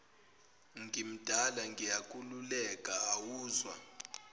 ngimdala ngiyakululeka awuzwa